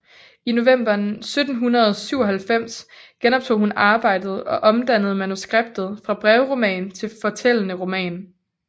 I november 1797 genoptog hun arbejdet og omdannede manuskriptet fra brevroman til fortællende roman